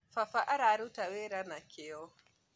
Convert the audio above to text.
Baba ararũta wĩra na kĩo